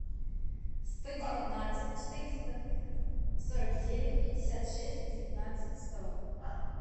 сто девятнадцать четыреста сорок девять пятьдесят шесть девятнадцать сто